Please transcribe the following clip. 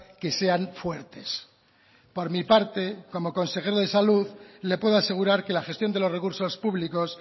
que sean fuertes por mi parte como consejero de salud le puedo asegurar que la gestión de los recursos públicos